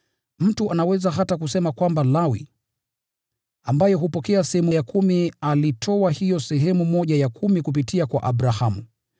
Mtu anaweza hata kusema kwamba Lawi, ambaye hupokea sehemu ya kumi, alitoa hiyo sehemu ya kumi kupitia kwa Abrahamu,